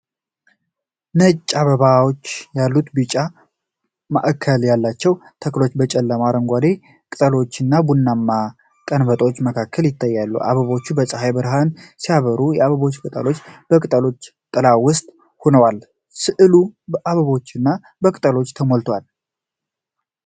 ነጭ አበባዎች ያሉት ቢጫ ማእከል ያላቸው ተክሎች በጨለማ አረንጓዴ ቅጠሎችና ቡናማ ቀንበጦች መካከል ይታያሉ። አበቦቹ በፀሐይ ብርሃን ሲያበሩ፣ የአበባው ቅጠሎች በቅጠሎቹ ጥላ ውስጥ ሆነዋል። ሥዕሉ በአበቦችና በቅጠሎች ተሞልቷል።